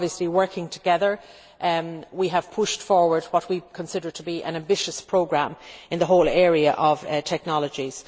But working together, we have pushed forward what we consider to be an ambitious programme in the whole area of technologies.